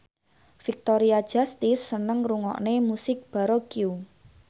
Victoria Justice seneng ngrungokne musik baroque